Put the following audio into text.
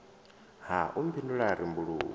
ha u mphindula a rembuluwa